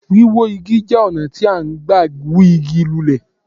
Wíwó Igi jẹ́ ọ̀nà tí à n gbà hú Igi lulẹ̀